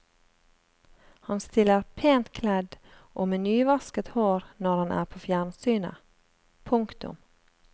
Han stiller pent kledd og med nyvasket hår når han er på fjernsynet. punktum